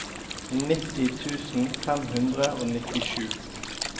nitti tusen fem hundre og nittisju